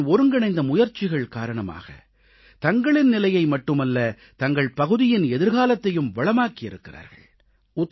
அவர்களின் ஒருங்கிணைந்த முயற்சிகள் காரணமாக தங்களின் நிலையை மட்டுமல்ல தங்கள் பகுதியின் எதிர்காலத்தையும் வளமாக்கி இருக்கிறார்கள்